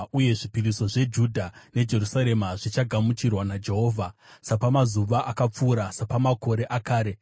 uye zvipiriso zveJudha neJerusarema zvichagamuchirwa naJehovha, sapamazuva akapfuura, sapamakore akare.